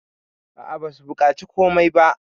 a a basu bukaci komai ba